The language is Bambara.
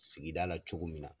Sigida la cogo min na